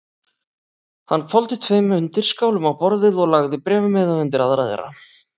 Hann hvolfdi tveim undirskálum á borðið og lagði bréfmiða undir aðra þeirra.